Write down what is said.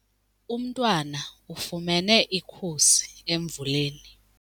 Umntwana ufumene ikhusi emvuleni.